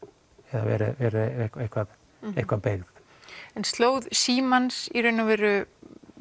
eða verið eitthvað eitthvað beygð en slóð símans í raun og veru